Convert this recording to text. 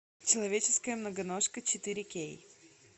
человеческая многоножка четыре кей